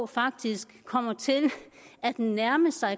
faktisk kommer til at nærme sig